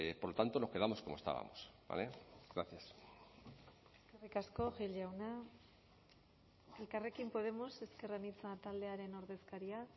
por lo tanto nos quedamos como estábamos gracias eskerrik asko gil jauna elkarrekin podemos ezker anitza taldearen ordezkaria